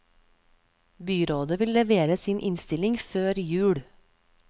Byrådet vil levere sin innstilling før jul.